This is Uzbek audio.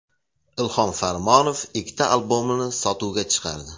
Ilhom Farmonov ikkita albomini sotuvga chiqardi.